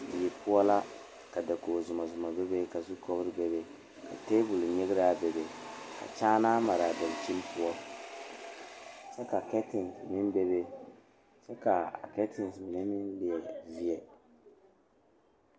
Dɔɔ kaŋa are la pegle bɔtuloŋ kaa pɔge are kaa zu waa pelaa su kpare ziɛ kaa bamine meŋ teɛ ba nuure kyɛ ba a wire ba nyɛmɛ.